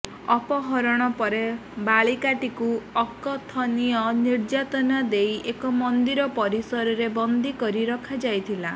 ଅପହରଣ ପରେ ବାଳିକାଟିକୁ ଅକଥନୀୟ ନିର୍ଯାତନା ଦେଇ ଏକ ମନ୍ଦିର ପରିସରରେ ବନ୍ଦୀ କରି ରଖାଯାଇଥିଲା